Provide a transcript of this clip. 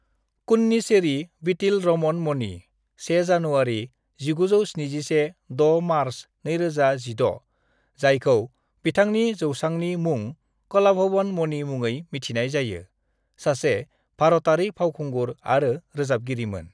"Kunnisseri Veettil Raman Mani (1 January 1971-6 March 2016), जायखौ बिथांनि जौसांनि मुं कलाभवन मणि मुङै मिथिनाय जायो, सासे भारतारि फावखुंगुर आरो रोजाबगिरिमोन।"